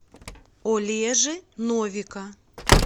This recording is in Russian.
олежи новика